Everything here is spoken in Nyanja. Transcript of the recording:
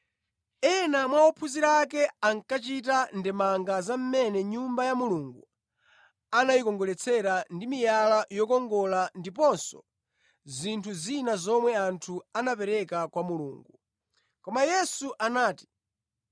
Ena mwa ophunzira ake ankachita ndemanga za mmene Nyumba ya Mulungu anayikongoletsera ndi miyala yokongola ndiponso zinthu zina zomwe anthu anapereka kwa Mulungu. Koma Yesu anati,